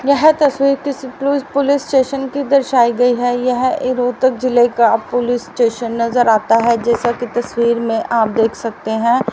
यह तस्वीर किसी पुली पुलिस स्टेशन की दर्शाई गई है यह ए रोहतक जिले का पुलिस स्टेशन नजर आता है जैसा की तस्वीर में आप देख सकते हैं।